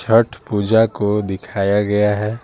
छठ पूजा को दिखाया गया है।